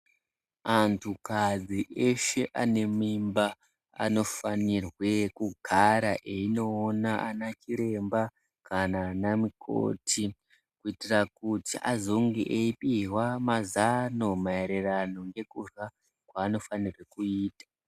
Antukadzi eshe ane mimba anofanirwe kugara einoona ana chiremba kana ana mukoti kuitira kuti azonge eipihwa mazano maererano nekurya kwaanofanirwe kuita.